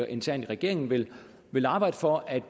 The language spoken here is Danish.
internt i regeringen vil vil arbejde for at